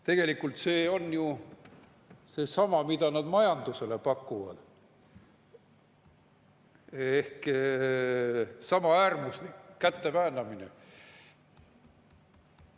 Tegelikult on see ju seesama, mida nad majanduses pakuvad, ehk sama äärmuslik käteväänamine.